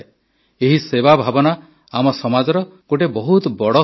ଏହି ସେବା ଭାବନା ଆମ ସମାଜର ଗୋଟିଏ ବହୁତ ବଡ଼ ଶକ୍ତି